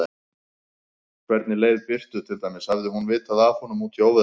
Hvernig leið Birtu til dæmis, hafði hún vitað af honum úti í óveðrinu?